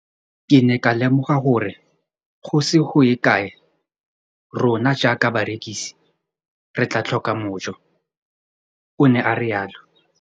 Ke ne ka lemoga gore go ise go ye kae rona jaaka barekise re tla tlhoka mojo, o ne a re jalo.